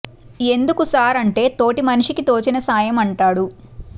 ఎందుకు సార్ అంటే తోటి మనిషికి తోచిన సాయం అంటాడు